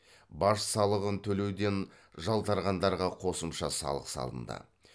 баж салығын төлеуден жалтарғандарға қосымша салық салынды